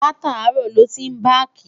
látàárò ló tin baki